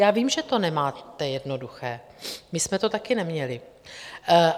Já vím, že to nemáte jednoduché, my jsme to taky neměli.